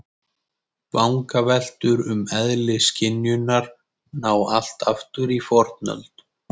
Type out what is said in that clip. Vangaveltur um eðli skynjunar ná allt aftur í fornöld.